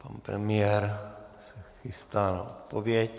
Pan premiér se chystá na odpověď.